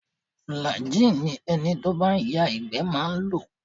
Flagin ni ẹni tí ó bá ń ya ìgbẹ́ máa ń lò